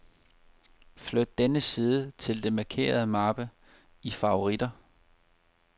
Flyt denne side til den markerede mappe i favoritter.